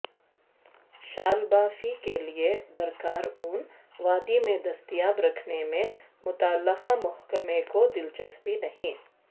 شالبافی کیلئے درکار اون وادی میں دستیاب رکھنے میں متعلقہ محکمہ کو دلچسپی نہیں